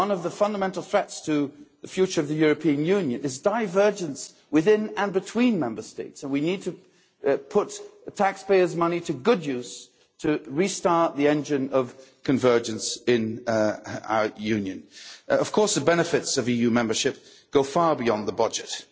One of the fundamental threats to the future of the European Union is divergence within and between Member States, and we need to put taxpayers' money to good use to restart the engine of convergence in our Union. Of course the benefits of EU membership go far beyond the budget.